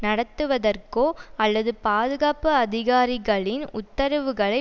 நடத்துவதற்கோ அல்லது பாதுகாப்பு அதிகாரிகளின் உத்தரவுகளை